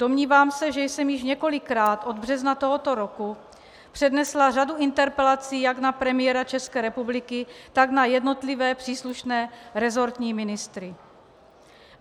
Domnívám se, že jsem již několikrát od března tohoto roku přednesla řadu interpelací jak na premiéra České republiky, tak na jednotlivé příslušné resortní ministry.